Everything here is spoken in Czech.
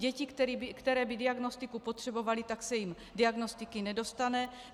Děti, které by diagnostiku potřebovaly, tak se jim diagnostiky nedostane.